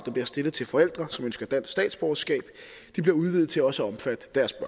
stillet til forældre som ønsker dansk statsborgerskab bliver udvidet til at også omfatte deres